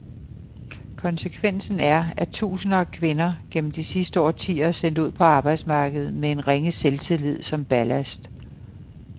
Konsekvensen er, at tusinder af kvinder gennem de sidste årtier er sendt ud på arbejdsmarkedet med en ringe selvtillid som ballast.